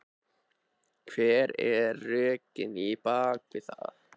Hver eru rökin á bakvið það?